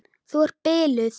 Þú ert biluð!